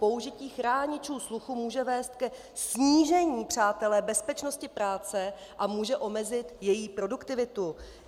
Použití chráničů sluchu může vést ke snížení - přátelé - bezpečnosti práce a může omezit její produktivitu.